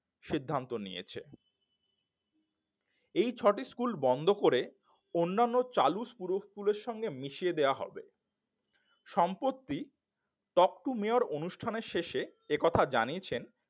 সিদ্ধান্ত নিয়েছেন এই ছটি স্কুল বন্ধ করে অন্যান্য চালু পুরো স্কুলের সাথে মিশিয়ে দেওয়া হবে সম্প্রতি talk to mayor অনুষ্ঠানের শেষে এ কথা জানিয়েছেন